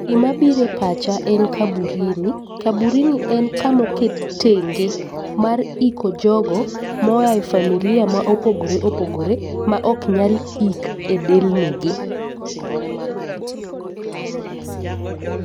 Gima bire pacha en kaburini, kaburini en kamoket tenge mar iko jogo moaye familia ma opogore opogore ma ok nyal ik e delni gi.